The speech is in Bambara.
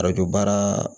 Arajo baara